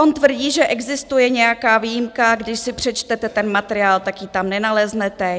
On tvrdí, že existuje nějaká výjimka, když si přečtete ten materiál, tak ji tam nenaleznete.